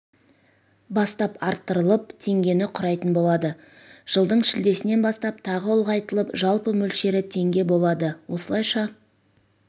бастап арттырылып теңгені құрайтын болады жылдың шілдесінен бастап тағы ұлғайтылып жалпы мөлшері теңге болады осылайша